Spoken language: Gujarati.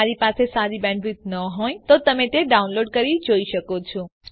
જો તમારી બેન્ડવિડ્થ સારી ન હોય તો તમે ડાઉનલોડ કરી તે જોઈ શકો છો